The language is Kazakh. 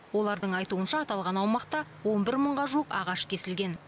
олардың айтуынша аталған аумақта он бір мыңға жуық ағаш кесілген